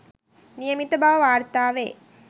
නියමිත බව වාර්තා වේ